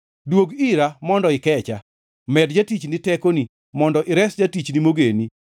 Duog ira mondo ikecha; med jatichni tekoni, kendo res jatichni mogeni.